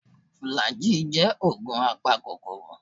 Flagy jẹ́ ògùn apakòkòrò